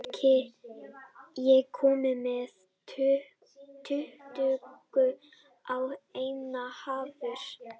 Sigurlogi, ég kom með tuttugu og eina húfur!